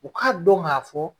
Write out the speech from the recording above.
U ka dɔn ga fɔ